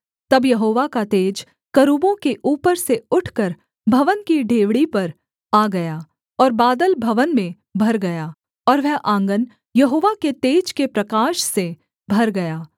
तब यहोवा का तेज करूबों के ऊपर से उठकर भवन की डेवढ़ी पर आ गया और बादल भवन में भर गया और वह आँगन यहोवा के तेज के प्रकाश से भर गया